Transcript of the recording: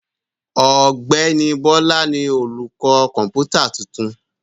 Ọ̀gbẹ́ni Bọ́lá ni olùkọ́ kọ̀ǹpútà tuntun.